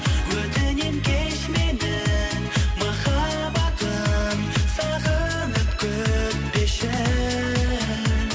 өтінемін кеш мені махаббатым сағынып күтпеші